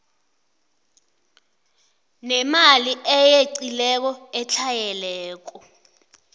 nemali eyeqileko etlhayelako